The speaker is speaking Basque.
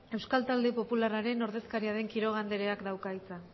euskal talde popularren ordezkaria den quiroga andereak dauka hitza